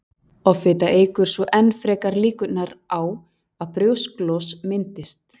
offita eykur svo enn frekar líkurnar á að brjósklos myndist